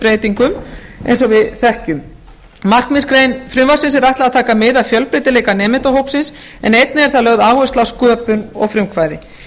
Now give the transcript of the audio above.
breytingum eins og við þekkjum markmiðsgrein frumvarpsins er ætlað að taka mið af fjölbreytileika nemendahópsins en einnig er þar lögð áhersla á sköpun og frumkvæði